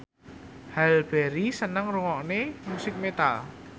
Halle Berry seneng ngrungokne musik metal